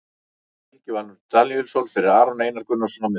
Helgi Valur Daníelsson fyrir Aron Einar Gunnarsson á miðjuna.